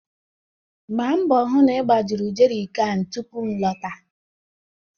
Gba mgbọ hụ na ị gbajuru jeri kan tupu m lọta!